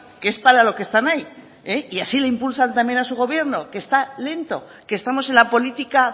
que es para lo que están ahí y así le impulsan también a su gobierno que esta lento que estamos en la política